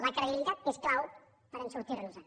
la credibilitat és clau per sortir nos en